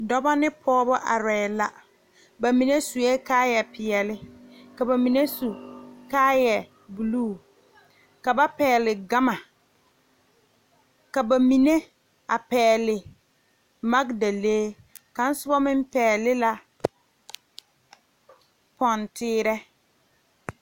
Dɔɔba ne pɔgebo are la bamine suɛ kaaya peɛle ka bamine su kaaya buluu ka ba pegle gama ka bamine a pegle magdalee a kaŋa soba meŋ pegle lɛ poɔteere.